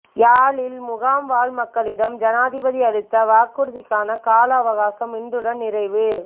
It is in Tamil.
யாழில் முகாம் வாழ் மக்களிடம் ஜனாதிபதி அளித்த வாக்குறுதிக்கான காலாவகாசம் இன்றுடன் நிறைவு